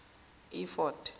efodi